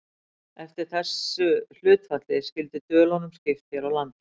eftir þessu hlutfalli skyldi dölunum skipt hér á landi